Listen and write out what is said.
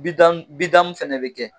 Bidamu bidamu fana bɛ kɛ